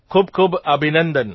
ખૂબખૂબ અભિનંદન